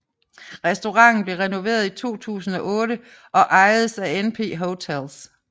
Restauranten blev renoveret i 2008 og ejedes af NP Hotels